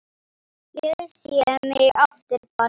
Ég sé mig aftur barn.